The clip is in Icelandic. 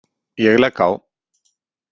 Ég legg á.